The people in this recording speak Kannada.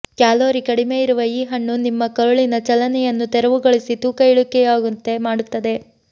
ಕ್ಯಾಲೋರಿ ಕಡಿಮೆ ಇರುವ ಈ ಹಣ್ಣು ನಿಮ್ಮ ಕರುಳಿನ ಚಲನೆಯನ್ನು ತೆರವುಗೊಳಿಸಿ ತೂಕ ಇಳಿಕೆಯಾಗುವಂತೆ ಮಾಡುತ್ತದೆ